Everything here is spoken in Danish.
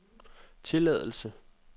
tilladelse